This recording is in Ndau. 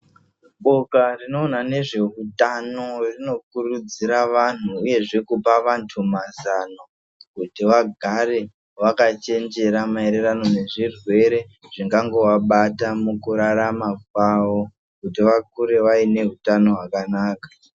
Boka rinoona nezveutano rinokurudzira vanthu uyezve kupa vanthu mazano kuti vagare vakachenjera maererano nezvirwere zvingangovabata mukurarama kwavo kuti vakure vaine utano hwakanaka.